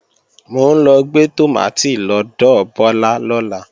Mò ń lọ gbé tòmátì lọ́dọ̀ Bọ́lá lọ́la